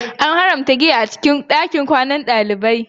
An haramta giya a cikin ɗakunan kwanan ɗalibai